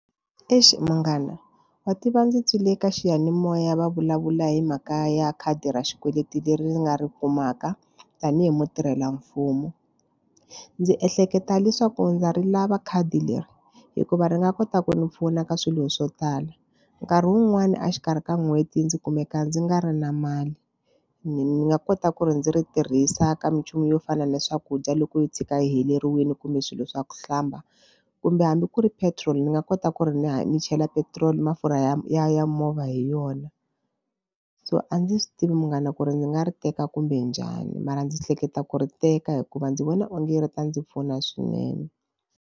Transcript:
Eish munghana wa tiva ndzi twile eka xiyanimoya va vulavula hi mhaka ya khadi ra xikweleti leri ni nga ri kumaka tanihi mutirhelamfumo. Ndzi ehleketa leswaku ndza ri lava khadi leri hikuva ri nga kota ku ndzi pfuna ka swilo swo tala nkarhi wun'wani a xikarhi ka n'hweti ndzi kumeka ndzi nga ri na mali ni ni nga kota ku ri ndzi ri tirhisa ka minchumu yo fana na swakudya loko yo tshika heleriwile kumbe swilo swa ku hlamba kumbe hambi ku ri petrol ni nga kota ku ri ni ya ni chela petiroli mafurha ya ya ya movha hi yona so a ndzi swi tivi munghana ku ri ndzi nga ri teka kumbe njhani mara ndzi hleketa ku ri teka hikuva ndzi vona onge ri ta ndzi pfuna swinene.